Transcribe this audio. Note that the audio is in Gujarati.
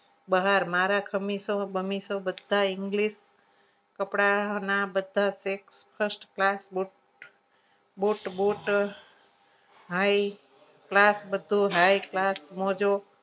બહાર મારા ખમીસો બનીસો બધાય english કપડાના બધા set first class મૂકો બુટ બુટ high class બધું high class મોજો